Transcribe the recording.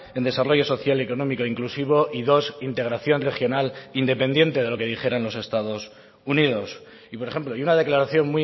en desarrollo social y económico inclusivo y dos integración regional independiente de lo que dijeran los estados unidos y por ejemplo y una declaración